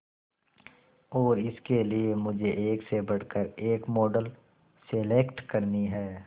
और इसके लिए मुझे एक से बढ़कर एक मॉडल सेलेक्ट करनी है